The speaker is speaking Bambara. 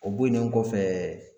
O bonen kɔfɛ